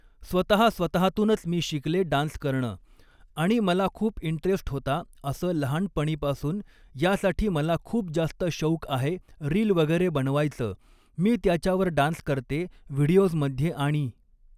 स्वतः स्वतःतूनच मी शिकले डान्स करणं आणि मला खूप इंटरेस्ट होता असं लहानपणीपासून यासाठी मला खूप जास्त शौक आहे रील वगैरे बनवायचं मी त्याच्यावर डान्स करते व्हिडिओजमध्ये आणि